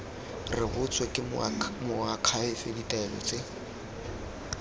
rebotswe ke moakhaefe ditaelo tse